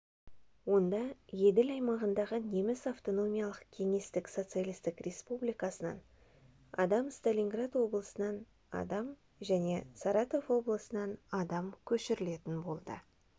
онда еділ аймағындағы неміс автономиялық кеңестік социалистік республикасынан адам сталинград облысынан адам және саратов облысынан адам көшірілетін болды